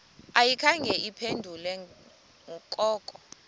ayikhange iphendule koko